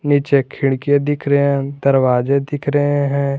पीछे खिड़कियाँ दिख रहे हैं दरवाजे दिख रहे हैं।